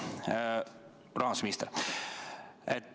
Hea rahandusminister!